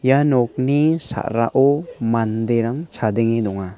ia nokni sa·rao manderang chadenge donga.